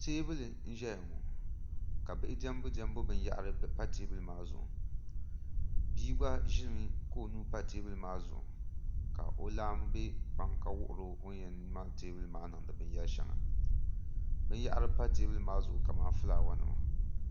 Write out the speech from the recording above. teebuli n-zaya ŋɔ ka bihi diɛmbudiɛmbu binyahiri pa teebuli maa zuɣu bia gba ʒimi ka o nuu pa teebuli maa zuɣu ka laamba be kpaŋa ka wuhiri o o ni yɛn mali teebuli maa niŋdi binyɛri shɛŋa binyahiri pa teebuli maa zuɣu kamani fulaawaasinima